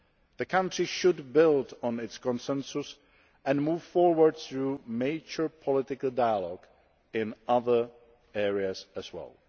The country should build on its consensus and move forward through mature political dialogue in other areas as